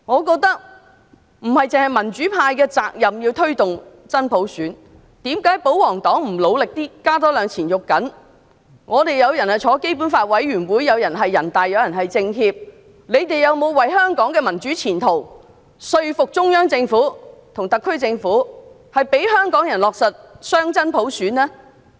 立法會當中有議員是香港特別行政區基本法委員會成員、有議員是人大常委會委員、有議員是政協委員，他們有否為香港的民主前途說服中央政府和特區政府，讓香港人落實雙真普選？